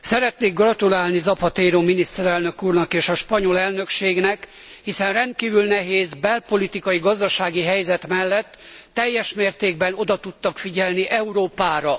Szeretnék gratulálni Zapatero miniszterelnök úrnak és a spanyol elnökségnek, hiszen rendkívül nehéz belpolitikai, gazdasági helyzet mellett, teljes mértékben oda tudtak figyelni Európára.